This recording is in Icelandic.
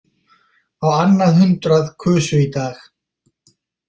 Á annað hundrað kusu í dag